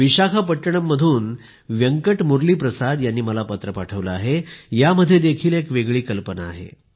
विशाखापट्टणम मधून व्यंकट मुरलीप्रसाद यांनी मला पत्र पाठविले आहे यामध्ये देखील एक वेगळी कल्पना आहे